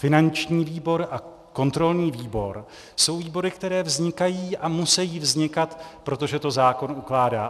Finanční výbor a kontrolní výbor jsou výbory, které vznikají a musejí vznikat, protože to zákon ukládá.